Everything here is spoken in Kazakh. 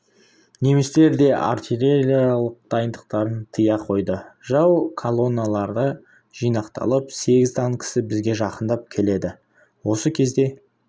немістер де артиллериялық дайындықтарын тыя қойды жау колонналары жинақталып сегіз танкісі бізге жақындап келеді осы кезде